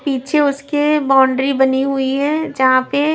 पीछे उसके बाउंड्री बनी हुई है जहां पे--